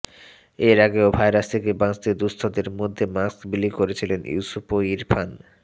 এর আগেও ভাইরাস থেকে বাঁচতে দুঃস্থদের মধ্যে মাস্ক বিলি করেছিলেন ইউসুফ ও ইরফান